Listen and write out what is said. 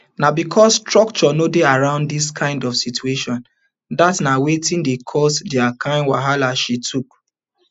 na becos structure no dey around dis kind of situations dat na wetin dey cause dia kind wahala she tok